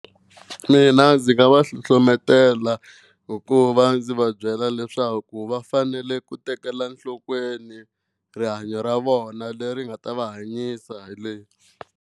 Mina ndzi nga va hlohletela hikuva ndzi va byela leswaku va fanele ku tekela nhlokweni rihanyo ra vona leri nga ta va hanyisa hi .